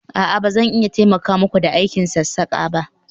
a'a, ba zan iya taimaka muku da aikin sassaka ba